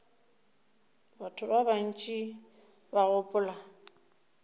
batho ba bantši ba gopola